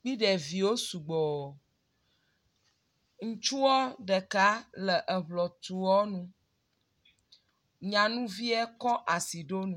kpe ɖeviwo sɔgbɔ. Ŋutsua ɖeka le eŋɔtrɔ nu. nyanuvie kɔ asi ɖo nu.